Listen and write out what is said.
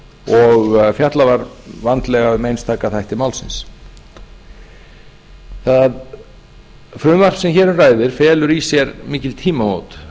og fjallað var vandlega um einstaka þætti málsins það frumvarp sem hér um ræðir felur í sér mikil tímamót